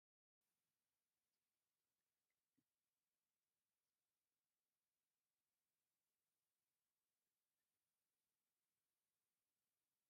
ዕንጨይቲ ዝተሸከማ ክልተ ኣንስቲ ኣብ ፀሊም ስፕልቲ ይጎዓዛ ኣለዋ ። ድሕረ ባይትኣን ድማ ብ ኣግራብ ዝተሸፈነ ሓምላዋይ ልምዓት እዩ ።